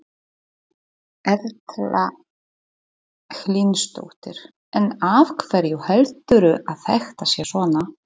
Erla Hlynsdóttir: En af hverju heldurðu að þetta sé svona?